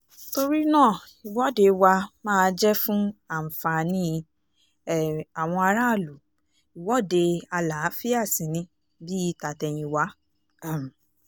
torí náà ìwọ́de wa máa jẹ́ fún àǹfààní um àwọn aráàlú ìwọ́de àlàáfíà sí ní bíi tàtẹ̀yìnwá um